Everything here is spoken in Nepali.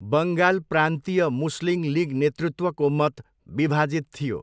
बङ्गाल प्रान्तीय मुस्लिम लिग नेतृत्वको मत विभाजित थियो।